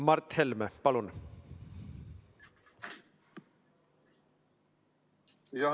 Mart Helme, palun!